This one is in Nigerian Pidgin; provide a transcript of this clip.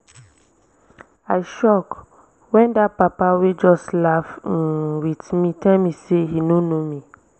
i shock wen dat papa wey just laugh um with me tell me say he no know me